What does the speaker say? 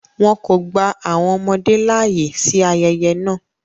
Wọn kọ gba awọn ọmọde laaye si ayẹyẹ náa